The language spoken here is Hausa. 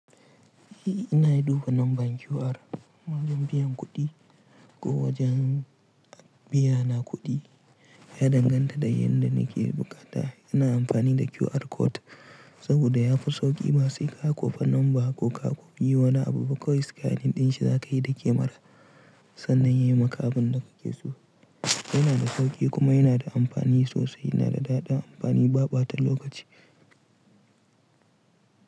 I, ina duba lambar QR wajen biyan kuɗi ko wajen biyana kuɗi ya danganta da yadda na ke buƙata. Yana amfani da QR code saboda ya fi sauƙi ma sai ka ƙafa lamba ko ka ƙofi wani abu kawai scanning din shi za ka yi da kemara sannan ya yi maka abin da ka ke so. Yana da sauƙi kuma yana da amfani sosai. Yana da daɗa amfani, baɓata lokaci.